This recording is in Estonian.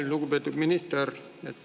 Lugupeetud minister!